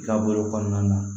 I ka bolo kɔnɔna na